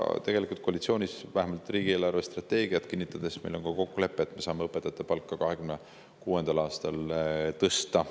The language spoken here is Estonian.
Tegelikult oli meil koalitsioonis, vähemalt riigi eelarvestrateegiat kinnitades, ka kokkulepe, et me saame õpetajate palka 2026. aastal tõsta.